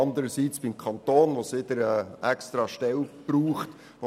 Andererseits muss beim Kanton eine neue Stelle eingerichtet werden.